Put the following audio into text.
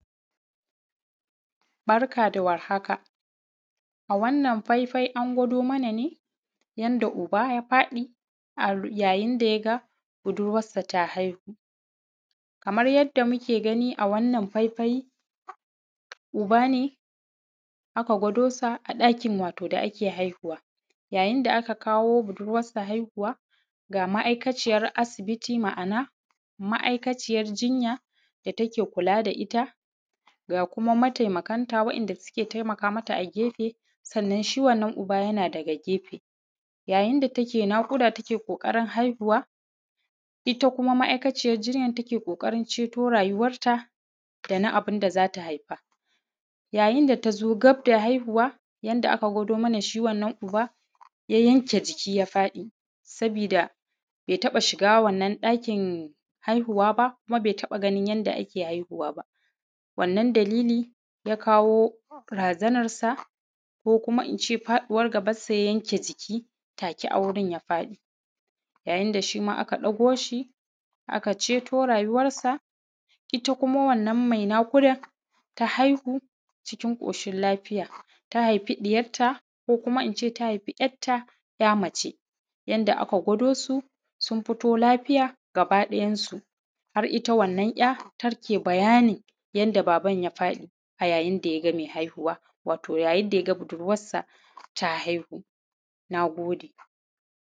Barka dawar haka a wannan faifai an gwado mana ne, ya yinda yaga budurwassa ta haihu’ kamar yadda muke gani a wannan faifai uba ne aka gwado sa a ɗakin wato da ake haihuwa. Ya yinda aka kawo budurwassa haihuwa ga ma aikaciyan asibiti ma’ana ma aikaciyan jinya da take kula da itta ga kuma mataimakan ta wa ‘yan’ da suke taimakamata a gefe sannan shi wannan yana daga gefe. Ya yinda take naƙuda tana ƙokarin haihuwa itta kuma ma aikaciyar jinya take kokarin ceto rayuwar ta dana abunda zata haifa. Ya yinda tazo gabda haihuwa yanda aka gwado mana shi wannan uba ya yenke jiki ya fadi sabida bai taɓa shiga wannan ɗakin haihuwa kuma bai taɓa ganin yanda ake haihuwa ba, wannan dalili ya kawo razanar sa ko kuma ince faɗuwar gabar say a yenke jiki take a gurin ya faɗi. Ya yinda shima aka ɗauko shi aka ceto rayuwar sa itta kuma wannan mai naƙudan ta haihu cikin ƙoshin lafiya ta haifi ɗiyar ta ko ince ta haifi ‘ya’tta ‘ya’ mace. Yadda aka gwado su sun fito lafiya gaba ɗayan su har itta wannan ‘ya’ take bayani yadda baban ya faɗi ya yinda yaga mai haihuwa ya yinda yaga budurwassa ta haihu. Nagode